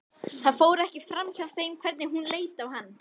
Það fór ekki framhjá þeim hvernig hún leit á hann.